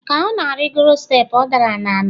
ka ọ na-arịgoro steepụ ọ dara n'ala